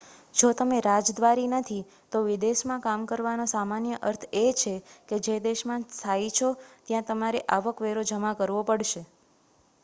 જો તમે રાજદ્વારી નથી તો વિદેશમાં કામ કરવાનો સામાન્ય અર્થ એ છે કે જે દેશમાં સ્થાયી છો ત્યાં તમારે આવક વેરો જમા કરવો પડશે